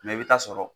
i bɛ taa sɔrɔ